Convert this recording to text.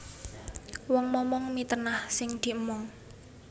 Wong momong mitenah sing diemong